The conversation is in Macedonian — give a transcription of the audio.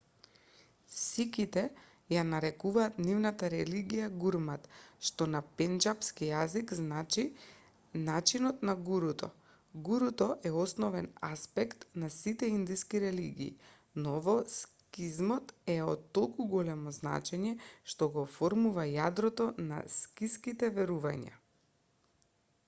сиките ја нарекуваат нивната религија гурмат што на пенџапски јазик значи начинот на гуруто гуруто е основен аспект на сите индиски религии но во сикизмот е од толку големо значење што го оформува јадрото на сикиските верувања